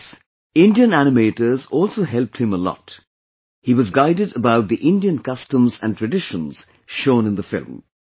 In this, Indian animators also helped him a lot, he was guided about the Indian customs and traditions shown in the film